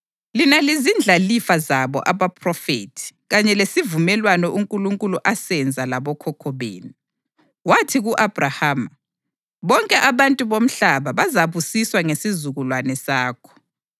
Lina lizindlalifa zabo abaphrofethi kanye lesivumelwano uNkulunkulu asenza labokhokho benu. Wathi ku-Abhrahama, ‘Bonke abantu bomhlaba bazabusiswa ngesizukulwane sakho.’ + 3.25 UGenesisi 22.18; 26.4